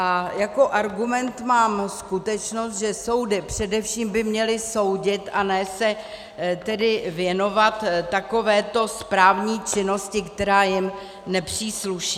A jako argument mám zkušenost, že soudy především by měly soudit, a ne se tedy věnovat takovéto správní činnosti, která jim nepřísluší.